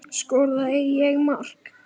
Skoraði ég mark?